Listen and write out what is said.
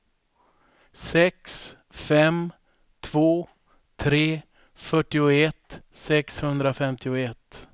sex fem två tre fyrtioett sexhundrafemtioett